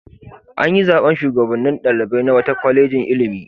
An yi zaɓen shugabannin ɗalibai na wata kwalejin ilimi.